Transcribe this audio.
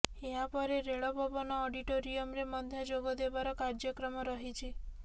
ଏହାପରେ ରେଲ ଭବନ ଅଡିଟୋରିୟମ୍ରେ ମଧ୍ୟ ଯୋଗଦେବାର କାର୍ଯ୍ୟକ୍ରମ ରହିଛି